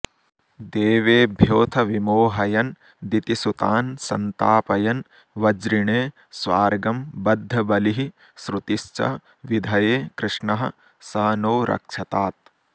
देवेभ्योऽथ विमोहयन् दितिसुतान् सन्तापयन् वज्रिणे स्वार्गं बद्धबलिः श्रुतिश्च विधये कृष्णः स नो रक्षतात्